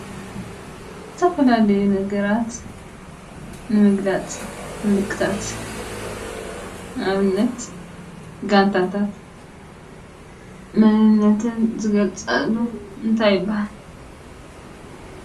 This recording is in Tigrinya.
ዝተፈላለዩ ነገራት ንምግላፅ ምልክታት ንኣብነት ጋንታታት መንነትን ዝግለፀሉ እንታይ ይባሃል?